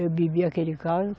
Eu bebi aquele caldo.